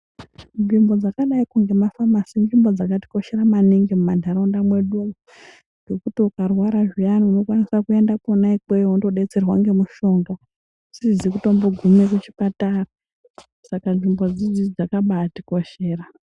Nzvimbo dzakadai kungeko nema famasi inzvimbo dzakari koshera maningi mu ma ntaraunda medumwo ngekuti uka rwara zviyani unokwanisa kuenda konako kweyo wono batsirwa ngemushonga usizi kutombo gume ku chipatara saka nzvimbo idzidzi dzakabai tikoshera.